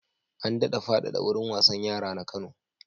An daɗa faɗaɗa wurin wasan yara na Kano.